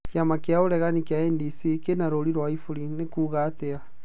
Kĩama kĩa ũregani kĩa NDC kĩna rũũri rwa iburi, nĩ kuuga atĩa.